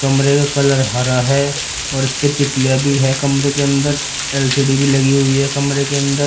कमरे का कलर हरा है और इसपे तितलियां भी है कमरे के अंदर एल_सी_डी भी लगी हुई है कमरे के अंदर।